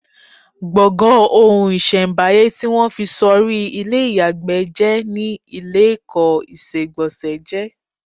Gbọ̀ngàn ohun-ìṣẹ̀m̀báyé tí wọ́n fi sọrí ilé ìyàgbẹ́ jẹ́ ni ilékọ̀ọ́ ìṣegbọ̀nsẹ̀ jé.